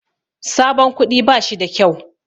Sabon kuɗi bashi da kyau.